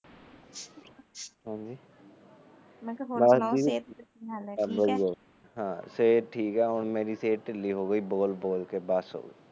ਹਾ ਸਿਹਤ ਠੀਕ ਹੁਣ ਮੇਰੀ ਸਿਹਤ ਢਿੱਲੀ ਹੋ ਗਈ ਆ ਬੋਲ ਬੋਲ ਕੇ ਬਸ